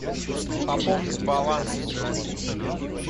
пополнить баланс из записной книжки